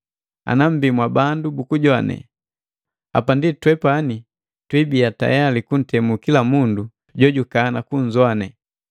Ana mmbii mwa bandu bukujoane, hapa ndi twepani tuibiya tayali kuntemu kila mundu jojukana kunzowane.